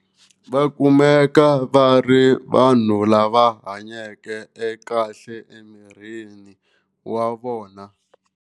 Va kumeka va ri vanhu lava hanyeke kahle emirini wa vona.